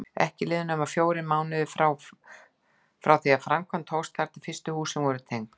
Ekki liðu nema fjórir mánuðir frá því framkvæmd hófst þar til fyrstu húsin voru tengd.